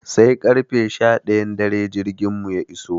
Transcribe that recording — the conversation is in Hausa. Sai karfe sha ɗayan dare jirgin mu ya iso.